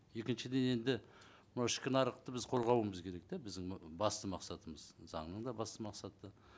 екіншіден енді мынау ішкі нарықты біз қорғауымыз керек да біздің басты мақсатымыз заңның да басты мақсаты